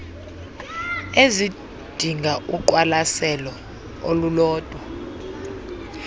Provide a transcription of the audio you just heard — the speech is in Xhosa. ezidinga uqwalaselo olulodwa